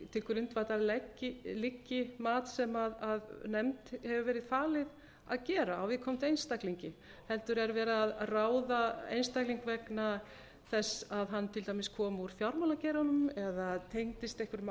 til grundvallar liggi mat sem nefnd hefur verið falið að gera á viðkomandi einstaklingi heldur er verið að ráða einstakling vegna þess að hann kom úr fjármálageiranum eða tengdist einhverjum